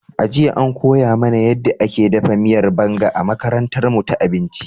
A jiya, an koya mana yadda ake dafa miyar Banga a makarantarmu ta abinci.